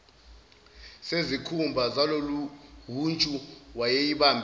zesikhumba zaloluhuntshu wayeyibambe